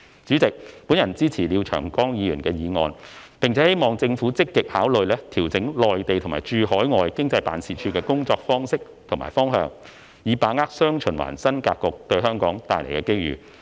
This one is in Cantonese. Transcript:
主席，本人支持廖長江議員的議案，並希望政府積極考慮調整駐內地和駐海外經濟貿易辦事處的工作方式和方向，以把握"雙循環"新發展格局對香港帶來的機遇。